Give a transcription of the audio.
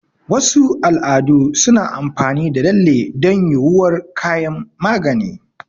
Wasu al'adu suna amfani da lalle don yuwuwar kayan magani.